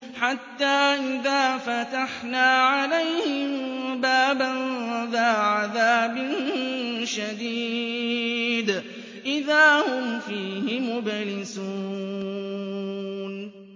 حَتَّىٰ إِذَا فَتَحْنَا عَلَيْهِم بَابًا ذَا عَذَابٍ شَدِيدٍ إِذَا هُمْ فِيهِ مُبْلِسُونَ